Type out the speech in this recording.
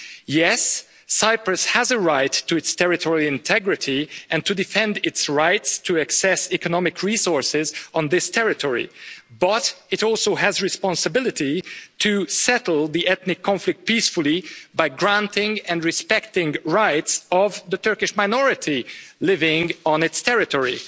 Yes, Cyprus has a right to its territorial integrity and to defend its rights to access economic resources on this territory, but it also has a responsibility to settle the ethnic conflict peacefully by granting and respecting the rights of the Turkish minority living on its territory.